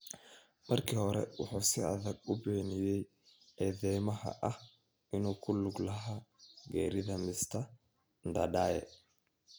Markii hore, wuxuu si adag u beeniyay eedeymaha ah inuu ku lug lahaa geerida Mr Ndadaye.